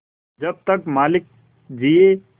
जब तक मालिक जिये